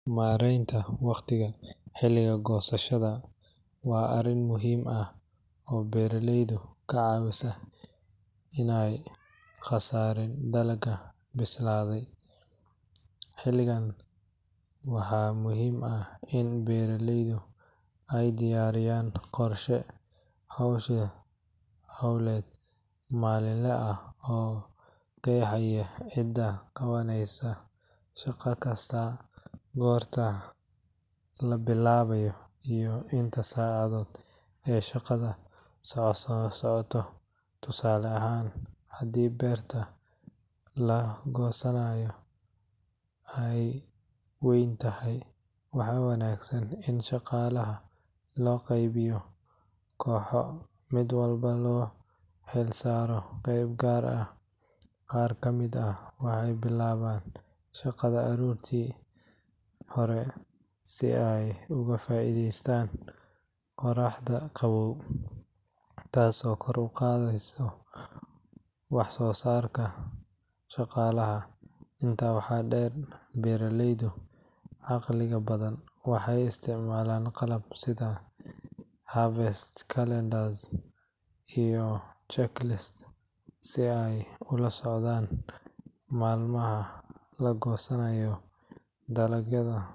Maareynta waqtiga xilliga goosashada waa arrin muhiim ah oo beeraleyda ka caawisa in aanay khasaarin dalagga bislaaday. Xilligan waxaa muhiim ah in beeraleydu ay diyaariyaan qorshe hawleed maalinle ah oo qeexaya cidda qabaneysa shaqo kasta, goorta la bilaabayo iyo inta saacadood ee shaqada soconayso. Tusaale ahaan, haddii beerta la goosanayo ay weyn tahay, waxaa wanaagsan in shaqaalaha loo qaybiyo kooxo, mid walbana loo xilsaaro qayb gaar ah. Qaar ka mid ah waxay bilaabaan shaqada aroortii hore si ay uga faa’iideystaan qorraxda qaboow, taas oo kor u qaadda wax-soo-saarka shaqaalaha. Intaa waxaa dheer, beeraleyda caqliga badan waxay isticmaalaan qalab sida harvest calendars iyo checklists si ay ula socdaan maalmaha la goosanayo dalagyo.